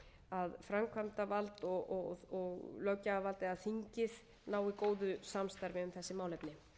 að framkvæmdarvald og löggjafarvald eða þingið nái góðu samstarfi um þessi málefni